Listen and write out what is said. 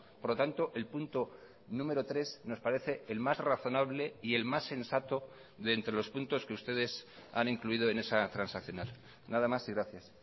por lo tanto el punto número tres nos parece el más razonable y el más sensato de entre los puntos que ustedes han incluido en esa transaccional nada más y gracias